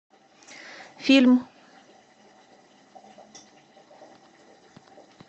фильм